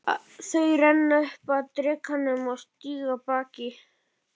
Þau renna upp að drekanum og stíga af baki.